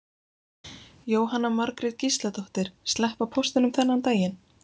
Jóhanna Margrét Gísladóttir: Sleppa póstinum þennan daginn?